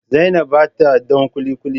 zainab ba ta don kulikuli